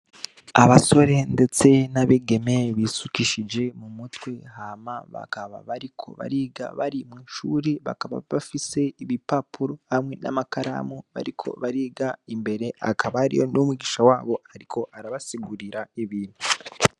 Abasore ndetse n'abigeme bisukishije mu mutwe, hama bakaba bariko bariga bari mw'ishuri bakaba bafise ibipapuro hamwe n'amakaramu bariko bariga, imbere hakaba hariho n'umwigisha wabo ariko arabasigurira ibintu.